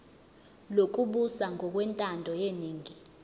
lokubusa ngokwentando yeningi